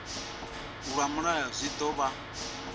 lwa mulayo zwi ḓo vha